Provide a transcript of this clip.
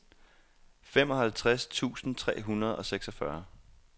femoghalvtreds tusind tre hundrede og seksogfyrre